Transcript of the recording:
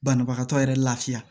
Banabagatɔ yɛrɛ lafiya